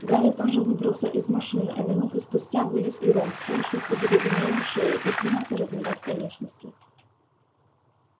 гарри тоже выбрался из машины а минуту спустя вылез и рон всё ещё с одеревенелой шеей и принялся разминать конечности